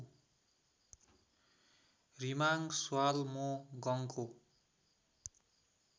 रिमाङ श्हालमो गङको